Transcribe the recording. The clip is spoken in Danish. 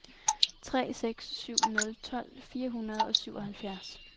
tre seks syv nul tolv fire hundrede og syvoghalvfjerds